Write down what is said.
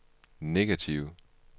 negative